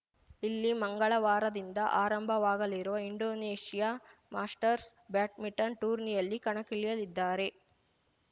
ಇಲ್ಲಿ ಮಂಗಳವಾರದಿಂದ ಆರಂಭವಾಗಲಿರುವ ಇಂಡೋನೇಷ್ಯಾ ಮಾಸ್ಟರ್ಸ್‌ ಬ್ಯಾಟ್ಮಿಟನ್‌ ಟೂರ್ನಿಯಲ್ಲಿ ಕಣಕ್ಕಿಳಿಯಲಿದ್ದಾರೆ